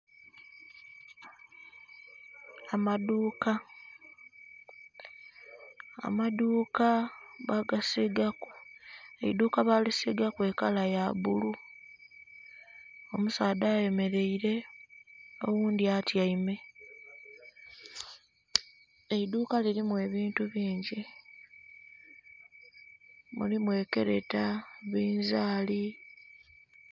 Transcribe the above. Amaduuka. Amaduuka bagasiigaku, eidhuuka balisiigaku ekala ya bbulu. Omusaadha ayemeleile oghundhi atyaime. Eidhuuka lilimu ebintu bingi. Mulimu ekeleta, binzaali...